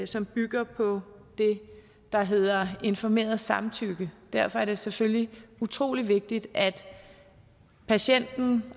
som bygger på det der hedder informeret samtykke derfor er det selvfølgelig utrolig vigtigt at patienten